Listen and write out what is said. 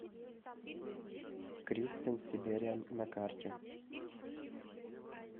кристен сибериан на карте